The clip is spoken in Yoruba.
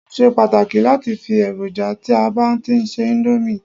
o ṣe pàtàkì lati fi eroja ti a ba ti n se Indomie